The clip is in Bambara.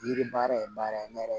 Yiri baara ye baara ye ne yɛrɛ